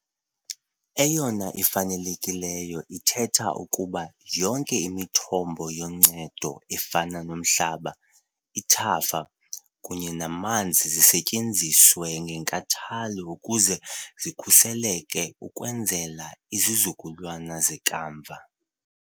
Eyona ifanelekileyo ithetha ukuba yonke imithombo yoncedo efana nomhlaba, ithafa kunye namanzi zisetyenziswe ngenkathalo ukuze zikhuseleke ukwenzela izizukulwana zekamva.